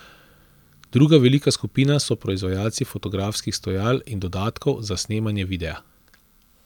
Druga velika skupina so proizvajalci fotografskih stojal in dodatkov za snemanje videa.